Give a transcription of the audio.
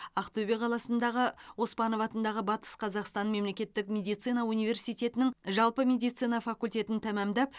ақтөбе қаласындағы м оспанов атындағы батыс қазақстан мемлекеттік медицина университетінің жалпы медицина факультетін тәмамдап